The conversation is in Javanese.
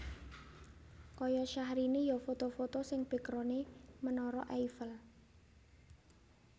Koyo Syahrini yo foto foto sing backgrounde Menara Eiffel